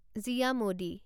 জিয়া মডি